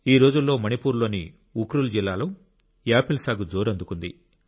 ఈ రోజుల్లో మణిపూర్ లోని ఉక్రుల్ జిల్లాలో యాపిల్ సాగు జోరందుకుంది